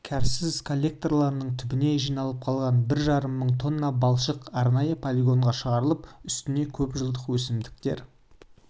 кәріз коллекторларының түбіне жиналып қалған бір жарым мың тонна балшық арнайы полигонға шығарылып үстіне көпжылдық өсімдіктер